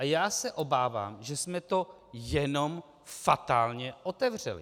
A já se obávám, že jsme to jenom fatálně otevřeli.